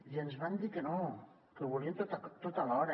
i ens van dir que no que ho volien tot alhora